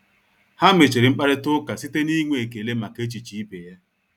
Ha mechiri mkparịta ụka site n'inwe ekele maka echiche ibe ya.